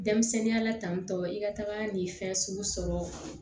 Denmisɛnninya la tantɔ i ka taga ni fɛn sugu sɔrɔ